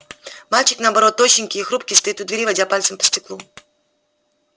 мальчик наоборот тощенький и хрупкий стоит у двери водя пальцем по стеклу